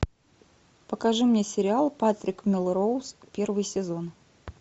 покажи мне сериал патрик мелроуз первый сезон